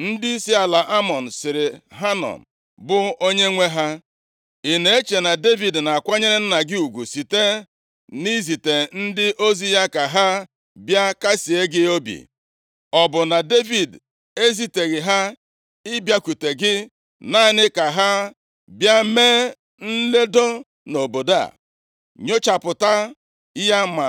ndịisi ala Amọn sịrị Hanọn bụ onyenwe ha, “Ị na-eche na Devid na-akwanyere nna gị ụgwụ site na izite ndị ozi ya ka ha bịa kasịe gị obi? Ọ bụ na Devid eziteghị ha ịbịakwute gị, naanị ka ha bịa mee nledo nʼobodo a, nyochapụta ya ma